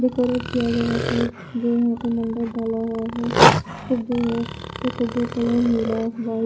decorate किया गया है जो यहां पर मंडर डाला हुआ है पुगे कलर नीला वाइट --